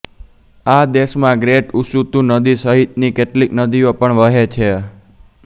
આ દેશમાં great Usutu નદી સહિતની કેટલીક નદીઓ પણ વહે છે